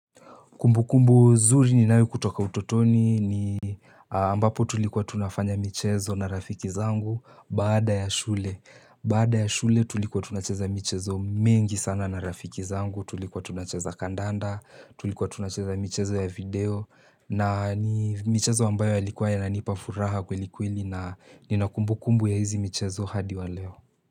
Kumbu kumbu zuri ninayo kutoka utotoni ni ambapo tulikuwa tunafanya michezo na rafiki zangu bada ya shule. Bada ya shule tulikuwa tunacheza michezo mingi sana na rafiki zangu. Tulikuwa tunacheza kandanda, tulikuwa tunacheza michezo ya video. Na ni michezo ambayo yalikua yananipafuraha kweli kweli na ninakumbu kumbu ya hizi michezo hadi wa leo.